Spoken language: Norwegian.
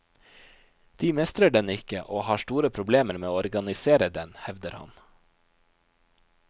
De mestrer den ikke og har store problemer med å organisere den, hevder han.